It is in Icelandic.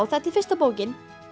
þetta er fyrsta bókin